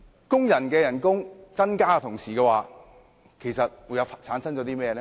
工人薪酬增加的同時會帶來甚麼問題呢？